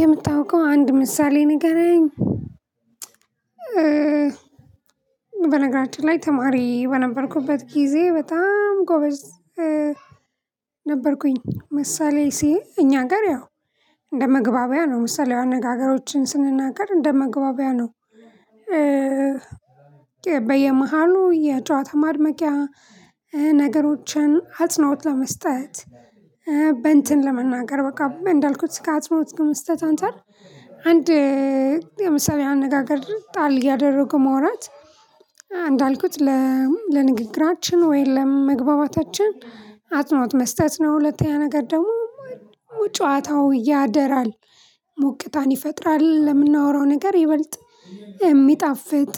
የምታውቀው አንድ ምሳሌ ንገረኝ? በነገራችን ላይ ተማሪ በነበርኩበት ጊዜ በጣም ጎበዝ ነበርኩኝ። ምሳሌ ሲ እኛ ሀገር ያው እንደ መግባቢያ ነው ምሳሌያዊ አነጋገሮችን ስንናገር እንደ መግባቢያ ነው። በየመሃሉ የጨዋታ ማድመቂያ ነገሮችን አጽኖት ለመስጠት በእንትን ለመናገር በቃ እንዳልኩት ስካት ሞት ግን መስጠት አንተ አንድ የምሳሌያዊ አነጋገር ጣል እያደረጉ ማውራት እንዳልኩት ለንግግራችን ወይ ለመግባባታችን አጽኖት መስጠት ነው። ሁለተኛ ነገር ደግሞ ጨዋታው ያደራል ሙቅታን ይፈጥራል ለምናወራው ነገር ይበልጥ የሚጣፍጥ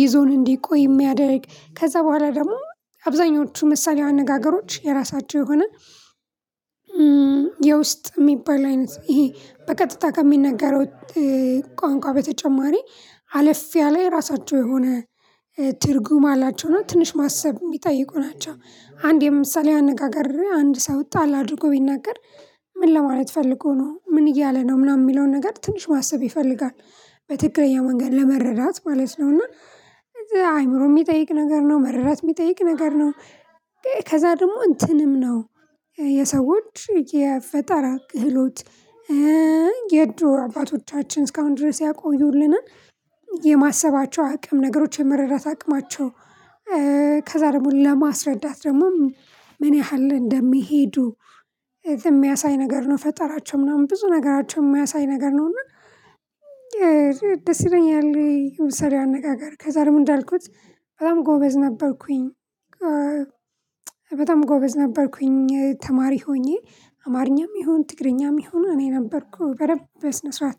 ይዞን እንዲቆይ የሚያደርግ ከዛ በኋላ ደግሞ አብዛኞቹ ምሳሌ አነጋገሮች የራሳቸው የሆነ የውስጥ የሚባል አይነት ይሄ በቀጥታ ከሚነገረው ቋንቋ በተጨማሪ አለፍ ያለ የራሳቸው የሆነ ትርጉም አላቸው። ነው ትንሽ ማሰብ የሚጠይቁ ናቸው። አንድ የምሳሌ አነጋገር አንድ ሰው ጣል አድርጎ ቢናገር ምን ለማለት ፈልጎ ነው? ምን እያለ ነው? ምናምን የሚለውን ነገር ትንሽ ማሰብ ይፈልጋል በትክክለኛ መንገድ ለመረዳት ማለት ነው። እና አይምሮ የሚጠይቅ ነገር ነው። መረዳት የሚጠይቅ ነገር ነው። ከዛ ደግሞ እንትንም ነው። የሰዎች የፈጠራ ክህሎት የድሮ አባቶቻችን እስካሁን ድረስ ያቆዩልን የማሰባቸው አቅም ነገሮች የመረዳት አቅማቸው። ከዛ ደግሞ ለማስረዳት ደግሞ ምን ያህል እንደሚሄዱ የሚያሳይ ነገር ነው። ፈጠራቸው ምናምን ብዙ ነገራቸው የሚያሳይ ነገር ነው። እና ይለያል ምሳሌ አነጋገር ከዛ ደግሞ እንዳልኩት በጣም ጎበዝ ነበርሁኝ። ጎበዝ ነበርኩኝ ተማሪ ሆኜ አማርኛም ይሁን ትግርኛም ይሁኑ እኔ ነበርኩ በደንብ በስነ ስርዓት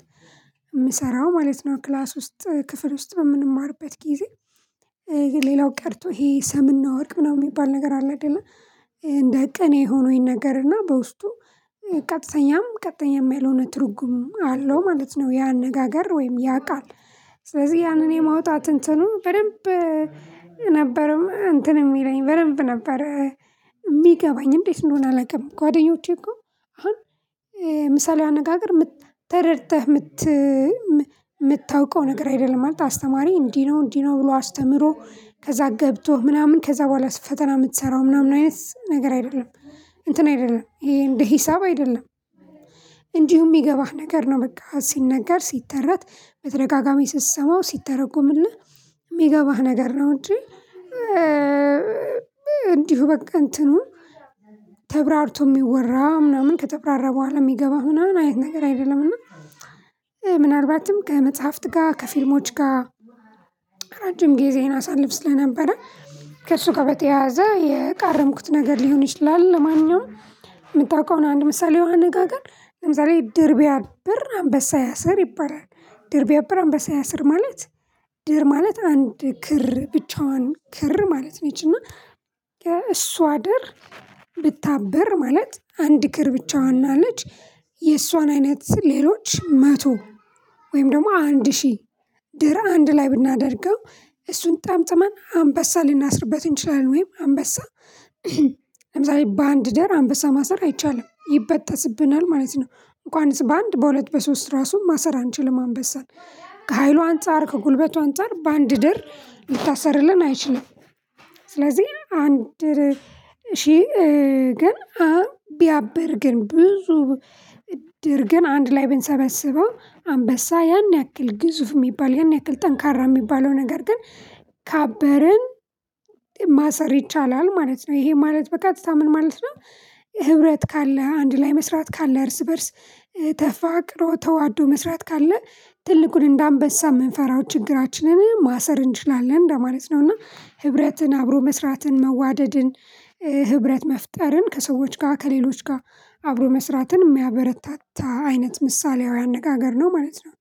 የምሰራው ማለት ነው። ክላስ ውስጥ ክፍል ውስጥ በምንማርበት ጊዜ ሌላው ቀርቶ ይሄ ሰምና ወርቅ ምናምን የሚባል ነገር አለ አይደለ እንደ ቀኔ የሆኑኝ ነገር እና በውስጡ ቀጥተኛም ቀጥተኛም ያልሆነ ትርጉም አለው ማለት ነው። ያ አነጋጋር ወይም ያ ቃል ስለዚህ ያንን የማውጣት እንትኑ በደንብ ነበረም እንትን የሚለኝ በደንብ ነበር። የሚገባኝ እንዴት እንደሆነ አላውቅም። ጓደኞቼ እኮ አሁን ምሳሌ አነጋገር ተረድተህ ምት የምታውቀው ነገር አይደለም አታስተማሪ እንዲህ ነው እንዲህ ነው ብሎ አስተምሮ ከዛ ገብቶህ ምናምን ከዛ በኋላ ፈተና የምትሰራው ምናምን አይነት ነገር አይደለም። እንትን አይደለም ይሄ እንደ ሂሳብ አይደለም። እንዲሁ የሚገባህ ነገር ነው በቃ ሲነገር ሲተረት መተጋጋሚ ስትሰማው ሲተረጎልህ የሚገባህ ነገር ነው። እንጂ እንዲሁ በቃ እንትኑ የሚወራ ምናምን ከተብራራ በኋላ የሚገባ ምናምን አይነት ነገር አይደለም። እና ምናልባትም ከመጽሐፍት ጋር ከፊልሞች ጋር ረጅም ጊዜየን አሳልፍ ስለነበረ ከእሱ ጋር በተያያዘ የቃረምኩት ነገር ሊሆን ይችላል። ልማንኛውም የምታውቀው አንድ ምሳሌያዊ አጋገር ለምሳሌ ድር ቢያብር አንበሳ ያስር ይባላል። ድር ቢያብር አንበሳ ያስር ማለት ድር ማለት አንድ ክር ብቻዋን ክር ማለት ነች። እና ከእሷ ድር ብታበር ማለት አንድ ክር ብቻ ዋና ልጅ የእሷን አይነት ሌሎች መቶ ወይም ደግሞ አንድ ሺህ ድር አንድ ላይ ብናደርገው እሱን ጠምጥመን አንበሳ ሊናስርበት ይችላል። ወይም አንበሳ ለምሳሌ በአንድ ድር አንበሳ ማሰር አይቻልም ይበተስብናል ማለት ነው። እንኳን በአንድ በሁለት በሶስት ራሱ ማሰር አንችልም አንበሳን ከሀይሏ አንፃር ከጉልበቷ አንፃር በአንድ ደር ልታሰርልን አይችልም። ስለዚህ አንድ ሺህ ግን አሁን ቢያበር ግን ብዙ ድር ግን አንድ ላይ ብንሰበስበው አንበሳ ያን ያክል ግዙፍ የሚባል ያን ያክል ጠንካራ የሚባለው ነገር ግን ካበረን ማሰር ይቻላል ማለት ነው። ይሄ ማለት በቀትታ ምን ማለት ነው? ህብረት ካለህ አንድ ላይ መስራት ካለህ እርስ በእርስ ተፋቅሮ ተዋዶ መስራት ካለ ትልቁን እንደ አንበሳ የምንፈራው ችግራችንን ማሰር እንችላለን እንደማለት ነው። እና ህብረትን አብሮ መስራትን መዋደድን ህብረት መፍጠርን ከሰዎች ጋር ከሌሎች ጋር አብሮ መስራትን የሚያበረታታ አይነት ምሳሌያዊ አነጋገር ነው ማለት ነው።